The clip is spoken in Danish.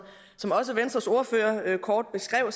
også venstres ordfører kort beskrev